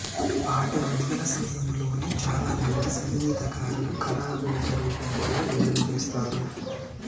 పాట విడుదల సమయంలోనే చాలామంది సంగీతకారులు కరావోకే రూపం కూడా విడుదలచేస్తారు